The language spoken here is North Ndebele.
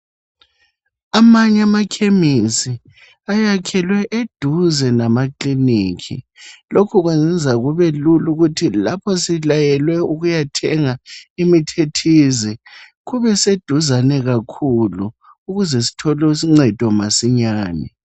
Amanye amakhemisi ayakhelwe eduze lamakilinikhi lokhu kwenza kubelula ukuthi lapho silayelwe ukuyathenga imithi ethize kubeseduzane kakhulu ukuze sithole uncedo masinyane.